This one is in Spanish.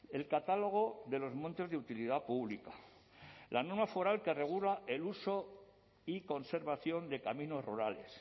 el catálogo de los montes de utilidad pública la norma foral que regula el uso y conservación de caminos rurales